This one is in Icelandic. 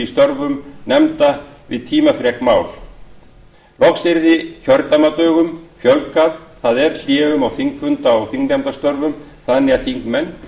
störfum nefnda við tímafrek mál loks yrði kjördæmadögum fjölgað það er hléum á þingfunda og þingnefndastörfum þannig að þingmenn